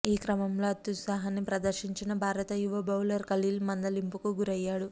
ఈ క్రమంలో అత్యుత్సాహాన్ని ప్రదర్శించిన భారత యువ బౌలర్ ఖలీల్ మందలింపుకు గురయ్యాడు